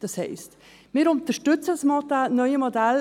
Das heisst, wir unterstützen das neue Modell.